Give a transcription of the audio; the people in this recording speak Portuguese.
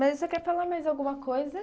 Mas você quer falar mais alguma coisa?